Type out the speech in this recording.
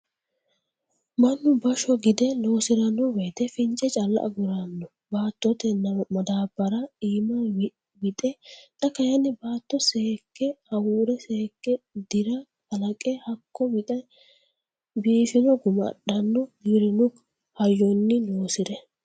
Mannu bashsho gide loosirano woyte fince calla agurano baattote madabara iimaho wixe xa kayinni baatto seekke hawure seekke dira kalaqe hakko wixe biifino guma adhano giwirinu hayyonni loosire.